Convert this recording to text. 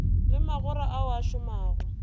le magora ao a šomago